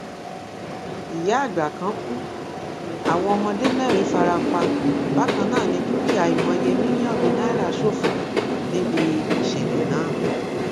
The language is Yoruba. ìyáàgbà kan kù àwọn ọmọdé mẹrin fara pa bákan náà ní dúkìá àìmọye mílíọnù náírà ṣòfò níbi ìṣẹlẹ náà